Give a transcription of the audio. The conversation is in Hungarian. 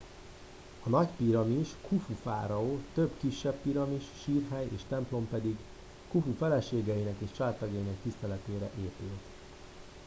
a nagy piramis khufu fáraó több kisebb piramis sírhely és templom pedig khufu feleségeinek és családtagjainak tiszteletére épült